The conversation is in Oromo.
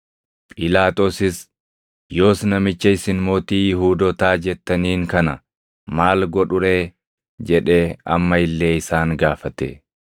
Phiilaaxoosis, “Yoos namicha isin mootii Yihuudootaa jettaniin kana maal godhu ree?” jedhee amma illee isaan gaafate.